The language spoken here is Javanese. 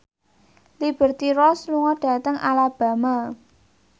Liberty Ross lunga dhateng Alabama